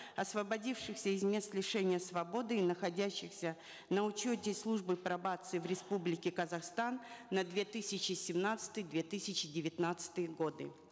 освободившихся из мест лишения свободы и находящихся на учете службы пробации в республике казахстан на две тысячи семнадцатый две тысячи девятнадцатые годы